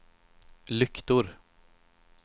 lyktor